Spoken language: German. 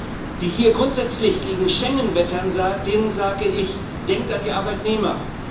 Und jenen, die hier grundsätzlich gegen Schengen wettern, denen sage ich Denkt an die Arbeitnehmer!